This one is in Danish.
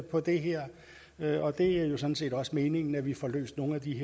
på det her og det er jo sådan set også meningen at vi får løst nogle af de